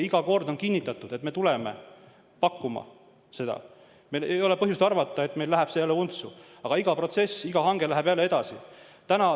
Iga kord on kinnitatud, et me tuleme seda pakkuma, meil ei ole olnud põhjust arvata, et asi läheb untsu, aga iga protsess, iga hange läheb jälle edasi.